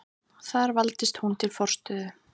Þar valdist hún til forstöðu.